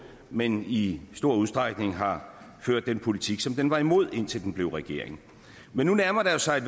men i stor udstrækning har ført den politik som den var imod indtil den blev regering men nu nærmer der sig